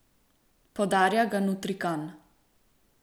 Podarja ga Nutrikan.